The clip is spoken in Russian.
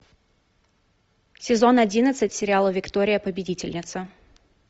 сезон одиннадцать сериала виктория победительница